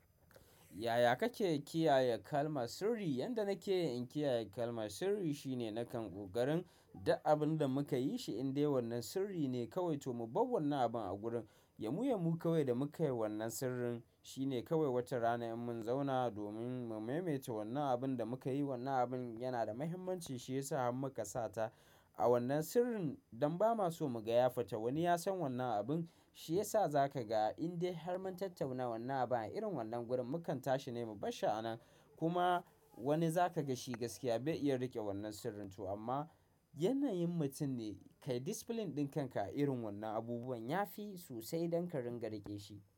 Yaya kake kiyaye kalmar sirri? Yanda nake in kiyaye kalmar sirri shine nakan ƙokarin duk abin da muka yi shi indai wannan sirri ne kawai. To mu bawwannan abun a gurin, ya mu ya mu kawai da muka yi wannan sirrin shine kawai watarana in mun zauna domin mu maimaita wannan abun da muka yi. Wannan abin yana da muhimmanci, shi ya sa har muka sata a wannan sirrin don ba ma so mu ga yafita. Wani ya san wannan abin, shi ya sa za ka ga indai har mun tattauna wannan abun a irin wannan gurin mukan tashi ne mu bashshi anan. Kuma wani zaka ga shi gaskiya bai iya riƙe wannan sirrin to amma yanayin mutum ne. Kai discipline ɗin kanka a irin wannan abubuwan ya fi sosai don ka ringa riƙe shi.